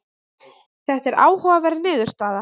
þetta er áhugaverð niðurstaða